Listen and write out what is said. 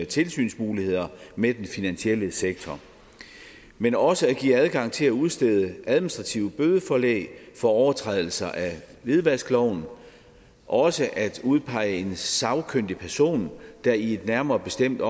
tilsynsmuligheder med den finansielle sektor men også at give adgang til at udstede administrative bødeforelæg for overtrædelser af hvidvaskloven og også at udpege en sagkyndig person der i en nærmere bestemt